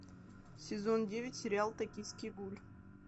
сезон девять сериал токийский гуль